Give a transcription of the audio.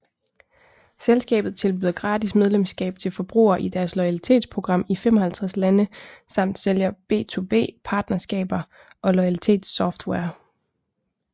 Selskabet tilbyder gratis medlemskab til forbrugere i deres loyalitets program i 55 lande samt sælger B2B partnerskaber og Loyalitets software